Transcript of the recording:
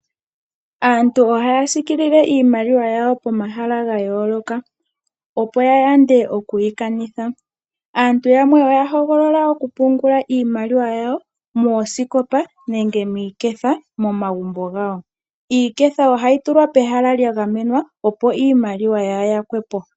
Aantu ohaya siikilile iimaliwa yawo pomahala gayooloka, opo ya yande okwii kanitha. aantu yamwe oya hogolola okupungula iimaliwa yawo moosikopa nenge miiketha momagumbo gawo. Iiketha ohayi tulwa pehala lya gamenwa opo iimaliwa yaa yakwepo.